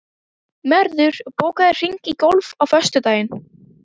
Mörður, bókaðu hring í golf á föstudaginn.